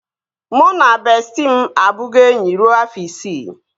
Mụ na bestịị m abugo enyi rue afọ isii